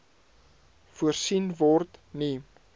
voorsien word nie